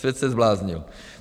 Svět se zbláznil.